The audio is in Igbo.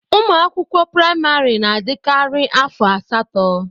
Ụmụ akwụkwọ praịmari na adikari afọ asatọ.